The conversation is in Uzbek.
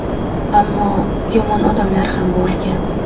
Ammo yomon odamlar ham bo‘lgan.